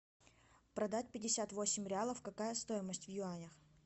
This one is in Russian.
продать пятьдесят восемь реалов какая стоимость в юанях